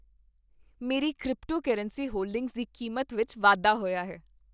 ਮੇਰੀ cryptocurrency holdings ਦੀ ਕੀਮਤ ਵਿੱਚ ਵਾਧਾ ਹੋਇਆ ਹੈ।